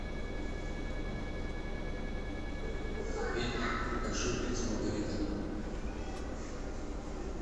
купить большую пиццу маргарита